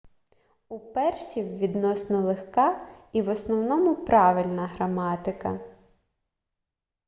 у персів відносно легка і в основному правильна граматика